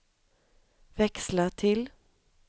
växla till